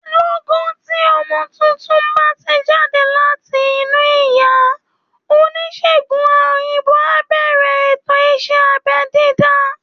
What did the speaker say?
Lọ́gán tí ọmọ tuntun bá ti jáde láti inú ìyá, oníṣègùn òyìnbó á bẹ̀rẹ̀ ètò ìṣẹ́ abẹ́ dídá